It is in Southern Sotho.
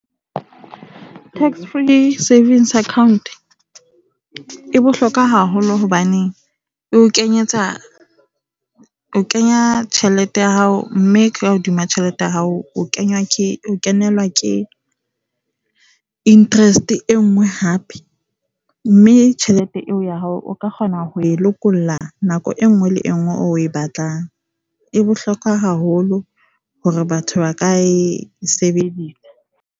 Tax Free Savings account e bohlokwa haholo hobane e o kenyetsa, o kenya tjhelete ya hao mme ka hodima tjhelete ya hao o kenelwa ke interest e nngwe hape. Mme tjhelete eo ya hao o ka kgona ho e lokolla nako e nngwe le e nngwe eo o e batlang. E bohlokwa haholo hore batho ba ka e sebedisa.